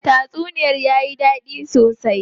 Tatsuniyar tayi dadi sosai.